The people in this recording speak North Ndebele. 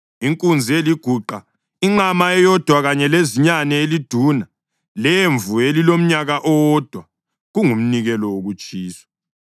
inkunzi eliguqa, inqama eyodwa kanye lezinyane eliduna lemvu elilomnyaka owodwa, kungumnikelo wokutshiswa;